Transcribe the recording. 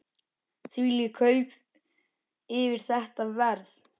Þvílík kaup fyrir þetta verð!